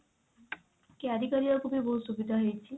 carry କରିବାକୁ ବି ବହୁତ ସୁବିଧା ହେଇଛି।